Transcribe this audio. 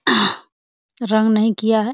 रंग नहीं किया है |